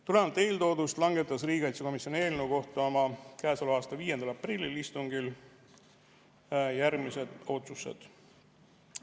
Tulenevalt eeltoodust langetas riigikaitsekomisjon eelnõu kohta oma käesoleva aasta 5. aprilli istungil järgmised otsused.